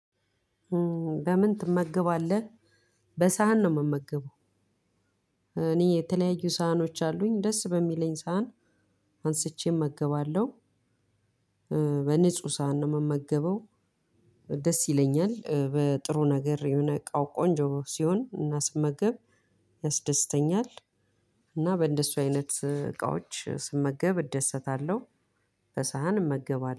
በምን ትመገባለህ በሰሀን ነው ምመገበው። እኔ የተለያዩ ሰሀኖች አሉኝ ደስ በሚለኝ ሰዓት አንስቼ እመገባለሁ። በንጹህ ሳህን ነው ምመገበው። ደስ ይለኛል በጥሩ ነገር የሆነ እቃው ቆንጆ ሲሆን እና ስመገብ ያስደስተኛል። እና በእንደሱ አይነት እቃዎች ስመገብ እደሰታለሁ። በሳህን እመገባለሁ